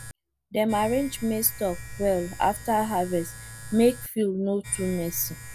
dem arrange maize stalks well after harvest make field no too messy